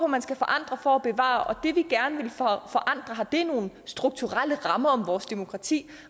man skal forandre for at bevare og det vi gerne vil forandre har det noget med strukturelle rammer om vores demokrati